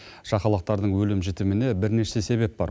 шақалақтардың өлім жітіміне бірнеше себеп бар